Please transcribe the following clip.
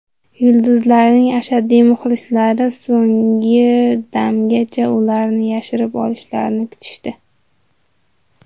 Yulduzlarning ashaddiy muxlislari so‘nggi damgacha ularning yarashib olishlarini kutishdi.